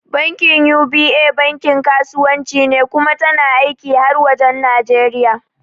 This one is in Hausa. Bankin UBA bankin kasuwa ce kuma tana aiki har wajen Nijeriya